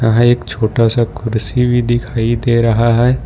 यहां एक छोटा सा कुर्सी भी दिखाई दे रहा है।